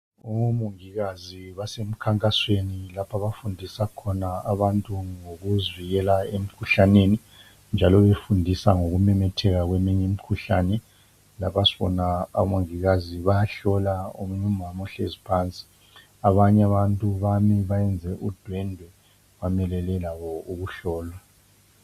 Omongikazi basemkhankasweni lapho abafundisa khona abantu ngokuzivikela emikhuhlaneni, njalo befundisa ngokumemetheka kweminye imikhuhlane. Lapha sibona omongikazi bayahlola omunye umama ohlezi phansi. Abanye abantu bami bayenze udwendwe, bamelele labo ukuhlolwa.